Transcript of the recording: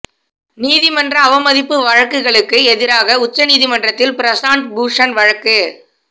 நீதிமன்ற அவமதிப்பு வழக்குகளுக்கு எதிராக உச்ச நீதிமன்றத்தில் பிரசாந்த் பூஷண் வழக்கு